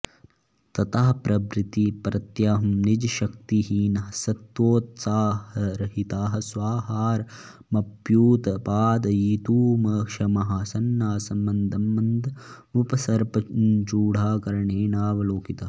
ततः प्रभृति प्रत्यहं निजशक्तिहीनः सत्त्वोत्साहरहितः स्वाहारमप्युत्पादयितुमक्षमः सन्नासं मन्दं मन्दमुपसर्पन्चूडाकर्णेनावलोकितः